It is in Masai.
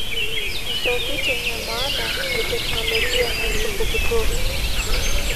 ntokitin emaana eteknolojia natupukuto